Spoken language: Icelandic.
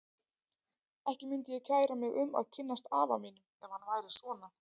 Ekki myndi ég kæra mig um að kynnast afa mínum ef hann væri svona.